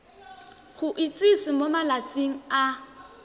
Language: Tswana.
go itsise mo malatsing a